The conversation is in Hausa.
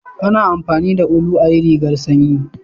A na amfani da ulu ayi rigar sanyi